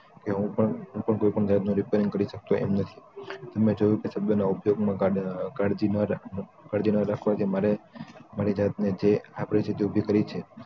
કે હું પણ કોઈ પણ જાતનું repairing કરી શકતો એમ નથી મે જોયું કે શબ્દો ના ઉપયોગ માં કાળજી ન રાખનાર કાળજી ન રાખવાથી મારે મારી જાતને જે આ પરિસ્થિતીઊભી કરી છે